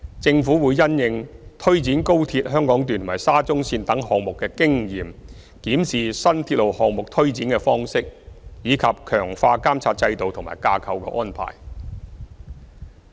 政府會因應推展高鐵香港段和沙中線等項目的經驗，檢視新鐵路項目推展的方式，以及強化監察制度和架構安排。